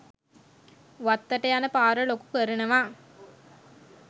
වත්තට යන පාර ලොකු කරනවා